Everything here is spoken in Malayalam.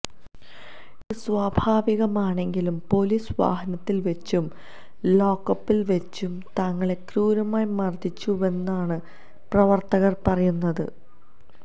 ഇത് സ്വാഭാവികമാണെങ്കിലും പൊലീസ് വാഹനത്തിൽ വെച്ചും ലോക്കപ്പിൽ വെച്ചും തങ്ങളെ ക്രൂരമായി മർദ്ദിച്ചുവെന്നാണ് പ്രവർത്തകർ പറയുന്നത്